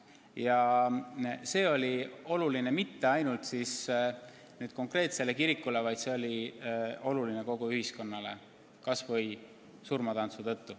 Ja see pole oluline mitte ainult konkreetsele kirikule, see on oluline kogu ühiskonnale, kas või "Surmatantsu" tõttu.